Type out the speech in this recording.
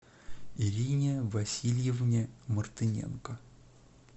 ирине васильевне мартыненко